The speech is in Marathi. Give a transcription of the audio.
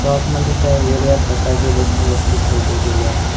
शॉप मध्ये काही वेगळया प्रकारचे इलेक्ट्रिक वस्तू ठेवले गेले आहेत.